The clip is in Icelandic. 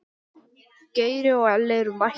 Geiri og Elli eru mættir.